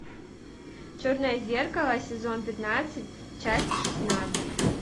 черное зеркало сезон пятнадцать часть шестнадцать